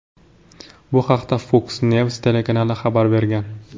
Bu haqda Fox News telekanali xabar bergan .